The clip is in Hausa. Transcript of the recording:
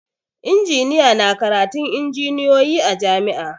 Injiniya na karatun injiniyoyi a jam'i